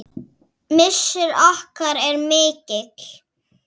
Missir okkar er mikill.